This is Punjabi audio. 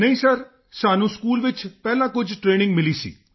ਨਹੀਂ ਸਰ ਸਾਨੂੰ ਸਕੂਲ ਵਿੱਚ ਹੀ ਪਹਿਲਾਂ ਕੁਝ ਟਰੇਨਿੰਗ ਮਿਲੀ ਸੀ